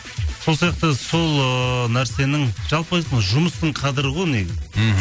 сол сияқты сол ыыы нәрсенің жалпы айтқанда жұмыстың қадірі ғой негізі мхм